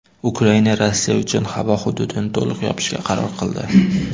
Ukraina Rossiya uchun havo hududini to‘liq yopishga qaror qildi.